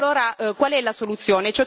E allora qual è la soluzione?